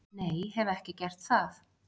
Nei, hef ekki gert það.